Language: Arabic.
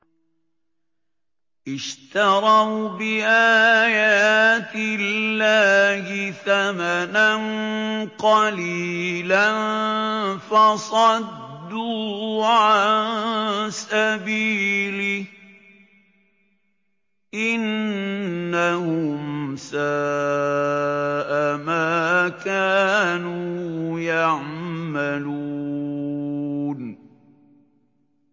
اشْتَرَوْا بِآيَاتِ اللَّهِ ثَمَنًا قَلِيلًا فَصَدُّوا عَن سَبِيلِهِ ۚ إِنَّهُمْ سَاءَ مَا كَانُوا يَعْمَلُونَ